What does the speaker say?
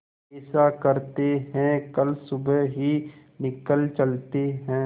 ऐसा करते है कल सुबह ही निकल चलते है